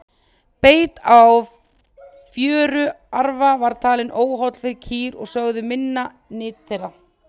beit á fjöruarfa var talinn óholl fyrir kýr og sögð minnka nyt þeirra